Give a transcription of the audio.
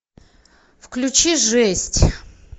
включи жесть